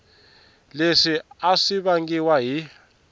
leswi a swi vangiwa hi